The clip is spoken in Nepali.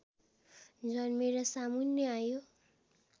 जन्मेर सामुन्ने आयो